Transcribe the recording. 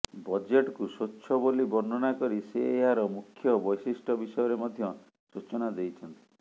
ବଜେଟକୁ ସ୍ୱଚ୍ଛ ବୋଲି ବର୍ଣ୍ଣନା କରି ସେ ଏହାର ମୁଖ୍ୟ ବୈଶିଷ୍ଟ୍ୟ ବିଷୟରେ ମଧ୍ୟ ସୂଚନା ଦେଇଛନ୍ତି